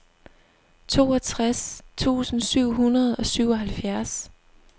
toogtres tusind syv hundrede og syvoghalvfjerds